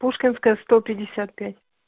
пушкинская сто пятьдесят пять